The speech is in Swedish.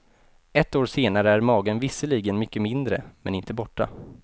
Ett år senare är magen visserligen mycket mindre, men inte borta.